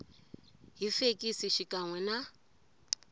hi fekisi xikan we na